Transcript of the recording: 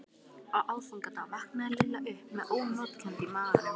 Á aðfangadag vaknaði Lilla upp með ónotakennd í maganum.